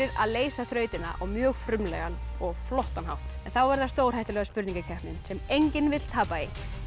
að leysa þrautina á mjög frumlegan og flottan hátt þá er það stórhættulega spurningakeppnin sem enginn vill tapa í